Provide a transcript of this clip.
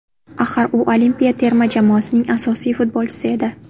Axir, u olimpiya terma jamoasining asosiy futbolchisi edi.